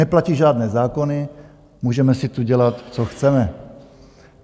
Neplatí žádné zákony, můžeme si tu dělat, co chceme.